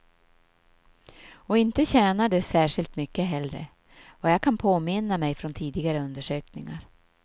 Och inte tjänar de särskilt mycket heller, vad jag kan påminna mig från tidigare undersökningar.